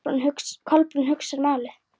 Kolbrún hugsaði málið.